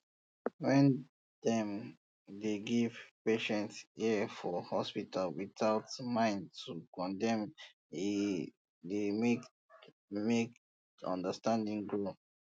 when dem dey give patient ear for hospital without mind to condemn e dey make make understanding grow